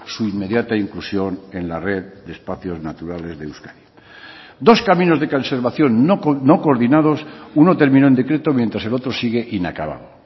su inmediata inclusión en la red de espacios naturales de euskadi dos caminos de conservación no coordinados uno terminó en decreto mientras el otro sigue inacabado